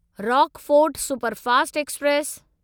Rockfort superfast express